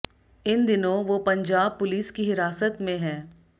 इन दिनों वो पंजाब पुलिस की हिरासत में है